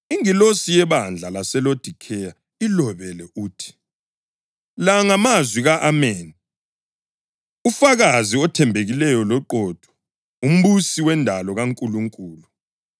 “Ingilosi yebandla laseLodikheya ilobele uthi: La ngamazwi ka-Ameni, ufakazi othembekileyo loqotho, umbusi wendalo kaNkulunkulu.